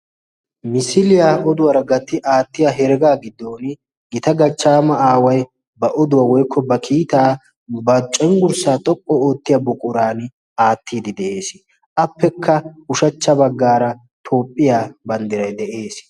Misiliya oduwaara gatti aattiya heregaa giddooni gita gachchaama aaway ba oduwa woykko ba kiitaa ba cengursaa xoqqu oottiya buquraan aattiiddi de'ees. Appekka ushachcha baggaara Toophphiya banddiray de'ees.